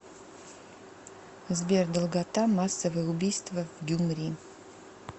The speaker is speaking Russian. сбер долгота массовое убийство в гюмри